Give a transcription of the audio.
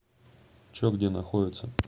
че где находится